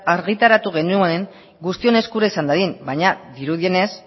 argitaratu genuen guztion eskura izan dadin baina dirudienez